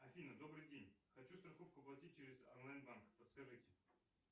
афина добрый день хочу страховку оплатить через онлайн банк подскажите